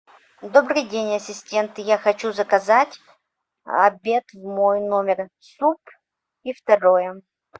добрый день ассистент я хочу заказать обед в мой номер суп и второе